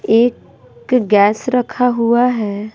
एक गैस रखा हुआ है।